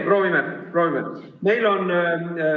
Proovime.